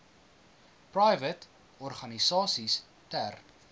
private organisasies ter